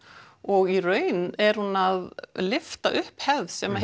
og í raun er hún að lyfta upp hefð sem